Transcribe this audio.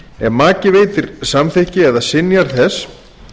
ef maki veitir samþykki eða synjar þess